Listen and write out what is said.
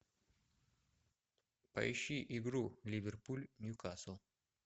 поищи игру ливерпуль ньюкасл